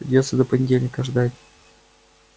придётся до понедельника ждать